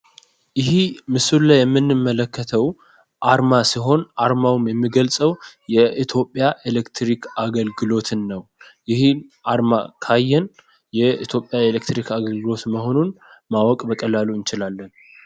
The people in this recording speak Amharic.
ይሄ ምስሉ ላይ የምንመለከተው አርማ ሲሆን አርማውም የሚገልጸው የኢትዮጵያ ኤሌክትሪክ አገልግሎትን ነው። ይሄ አርማ ካየን የኢትዮጵያ ኤሌክትሪክ አገልግሎት መሆኑን ማወቅ በቀላሉ እንችላለን።